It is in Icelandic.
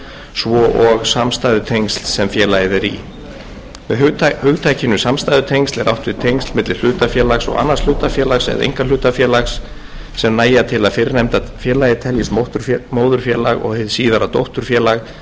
svo og samstæðutengsl sem félag er í með hugtakinu samstæðutengsl er átt við tengsl milli hlutafélags og annars hlutafélags eða einkahlutafélags sem nægja til að fyrrnefnda félagið teljist móðurfélag og hið síðara dótturfélag